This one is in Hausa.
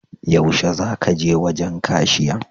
Yaushe za ka je wajen kashiyan?